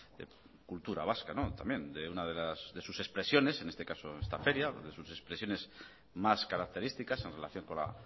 de cultura vasca también de una de sus expresiones en este caso esta feria de sus expresiones más características en relación con la